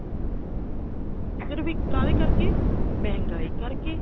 ਸਿਰਫ ਇੱਕ ਕਾਹਦੇ ਕਰਕੇ ਮਹਿੰਗਾਈ ਕਰਕੇ